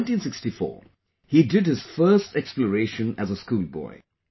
In 1964, he did his first exploration as a schoolboy